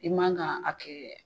I man ka a kɛ